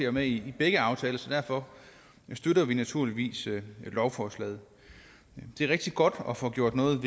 er med i begge aftaler så derfor støtter vi naturligvis lovforslaget det er rigtig godt at få gjort noget